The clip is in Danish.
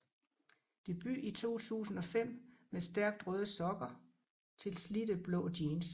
Debut i 2005 med Stærkt røde sokker til slidte blå jeans